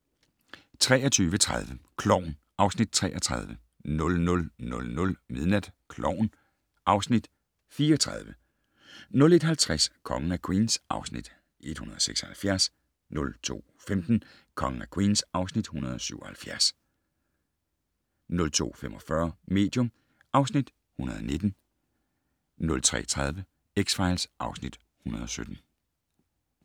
23:30: Klovn (Afs. 33) 00:00: Klovn (Afs. 34) 01:50: Kongen af Queens (Afs. 176) 02:15: Kongen af Queens (Afs. 177) 02:45: Medium (Afs. 119) 03:30: X-Files (Afs. 117)